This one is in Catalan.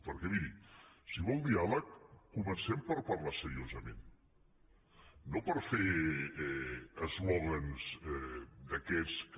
perquè miri si vol diàleg comencem per parlar seriosament no per fer eslògans d’aquests que